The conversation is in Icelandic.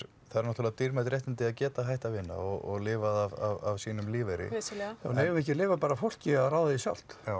eru náttúrulega dýrmæt réttindi að geta hætt að vinna og lifað af sínum lífeyri vissulega já en eigum við ekki að leyfa bara fólki að ráða því sjálft já